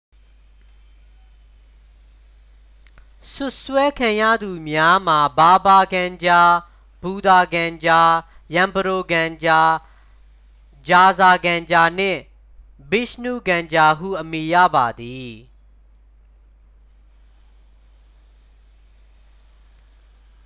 စွပ်စွဲခံရသူများမှာ ဘာဘာ ကန်ဂျာ ဘူသာ ကန်ဂျာ ရန်ပရို ကန်ဂျာ ဂျာဇာ ကန်ဂျာနှင့် ဗစ်ရှ်နု ကန်ဂျာဟု အမည်ရပါသည်